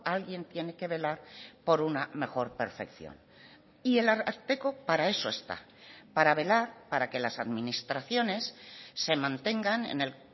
alguien tiene que velar por una mejor perfección y el ararteko para eso está para velar para que las administraciones se mantengan en el